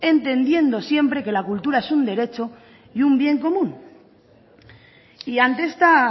entendiendo siempre que la cultura es un derecho y un bien común y ante esta